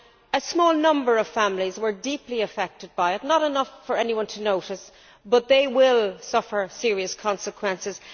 A small number of families were deeply affected by it, not enough for anyone to notice, but they will suffer serious consequences.